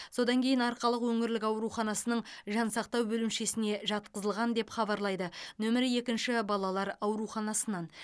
содан кейін арқалық өңірлік ауруханасының жансақтау бөлімшесіне жатқызылған деп хабарлайды нөмірі екінші балалар ауруханасынан